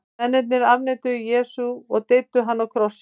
mennirnir afneituðu jesú og deyddu hann á krossi